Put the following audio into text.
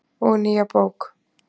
Og nýja bók.